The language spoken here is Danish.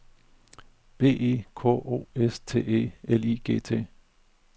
B E K O S T E L I G T